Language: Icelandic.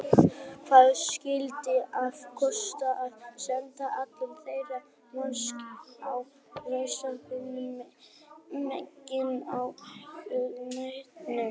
Hvað skyldi hafa kostað að senda allan þennan mannskap á ráðstefnu hinum megin á hnettinum?